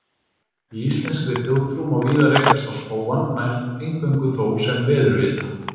Í íslenskri þjóðtrú má víða rekast á spóann, nær eingöngu þó sem veðurvita.